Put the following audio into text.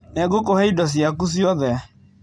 Nĩngũkũhe indo ciaku ciothe.